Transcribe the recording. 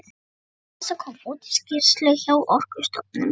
Íslands og kom út í skýrslu hjá Orkustofnun.